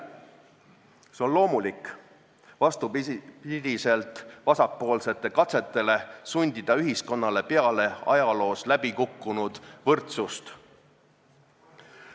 See on loomulik, vastupidiselt vasakpoolsete katsetele sundida ühiskonnale peale ajaloos läbikukkunud võrdsust.